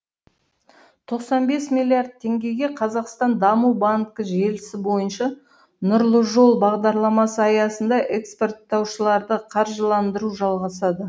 тоқсан бес миллиард теңгеге қазақстан даму банкі желісі бойынша нұрлы жол бағдарламасы аясында экспорттаушыларды қаржыландыру жалғасады